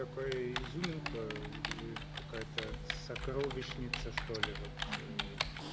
такая изюминка какая-то сокровищница что ли вот